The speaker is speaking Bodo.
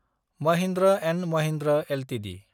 महिन्द्र & महिन्द्र एलटिडि